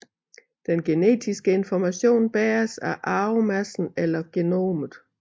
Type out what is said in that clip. Den genetiske information bæres af arvemassen eller genomet